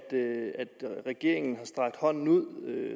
regeringen har strakt hånden ud